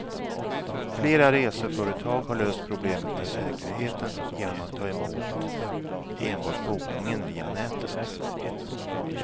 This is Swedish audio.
Flera reseföretag har löst problemet med säkerheten genom att ta emot enbart bokningen via nätet.